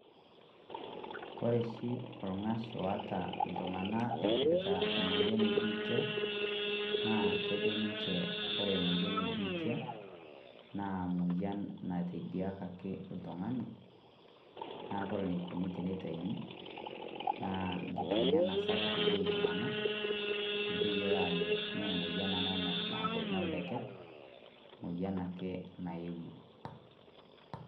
Ore oshi oshi orng'ash oata iltung'anak eipirta emoyian ebiitia, naa kejo ninche kore emoyian ebiitia na emoyian natediakaki oltung'ani, na kore enikoni tenitaun, naa enkiteng'ena sapuk eyieu iltung'anak, miteyiolo ajo me emoyian ena naaku noldeket, emoyian ake naewuo.